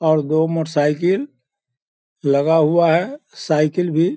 और दो motorcycle लगा हुआ है साइकिल भी --